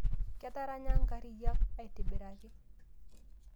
Ketaranya nkariyiak aitibiraki